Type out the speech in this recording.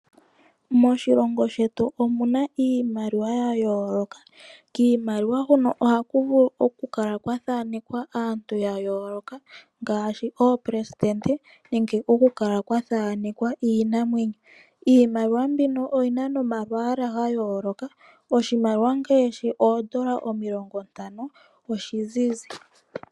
Moshilongo shetu omu na iimaliwa ya yoloka, nokiimaliwa oha ku vulu okukala kwa thanekwa aantu ya yoloka ngashi oopelesitende nenge iinamwenyo. Iimaliwa oyi na omalwala ga yolokathana ngashi ondola 50 ozizi.